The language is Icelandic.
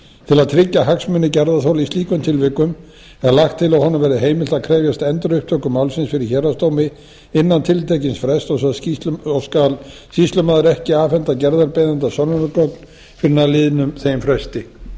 til að tryggja hagsmuna gerðarþola í slíkum tilvikum er lagt til að honum verði heimilt að krefjast endurupptöku málsins fyrir héraðsdómi innan tiltekins frests og skal sýslumaður ekki afhenda gerðarbeiðanda sönnunargögn fyrr en að liðnum þeim fresti